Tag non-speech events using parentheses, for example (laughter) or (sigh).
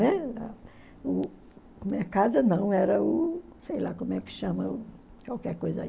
(unintelligible) Minha casa não, era o... sei lá como é que chama, qualquer coisa aí.